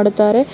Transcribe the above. ಆಟಾಡುತಾರೆ .